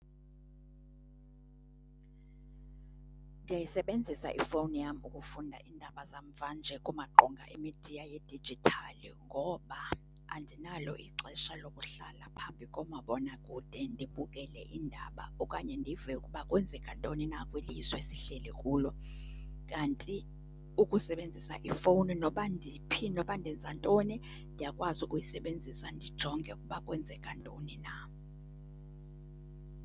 Ndiyayisebenzisa ifowuni yam ukufunda iindaba zamva nje kumaqonga emidiya yedijithali ngoba andinalo ixesha lokuhlala phambi komabonakude ndibukele iindaba okanye ndive ukuba kwenzeka ntoni na kweli lizwe sihleli kulo. Kanti ukusebenzisa ifowuni noba ndiphi, noba ndenza ntoni, ndiyakwazi ukuyisebenzisa ndijonge ukuba kwenzeka ntoni na.